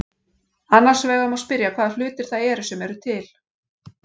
Annars vegar má spyrja hvaða hlutir það eru sem eru til.